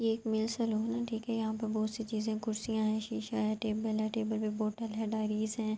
یہ ایک ملے سالوں ہے۔ ٹھیک ہے۔ یہاں پی بھوت سے چیزے ہے۔ کرسیا ہے۔ شیشہ ہے۔ ٹیبل ہے۔ ٹیبل پی بوتل ہے۔ ڈیریج ہے۔